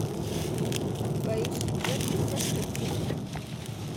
поищи джек потрошитель